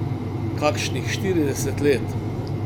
Kakšnih štirideset let.